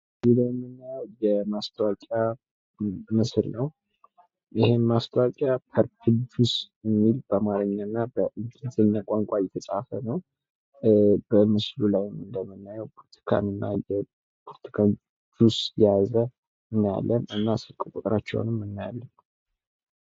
እዚህ ላይ የምናዬው የማስታወቂያ ምስል ነው። ይህም ማስታወቂያ ፐርፕል ጁስ የሚል በአማርኛና በእንግሊዘኛ ቋንቋ የተፃፈነው በምስሉ ላይም እንደምናይው የብርቱካን ጁስ የያዘ እናያለን። እና ስልክ ቁጥራቸውንም እናያለን።